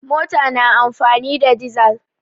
Mota na amfani da dizal.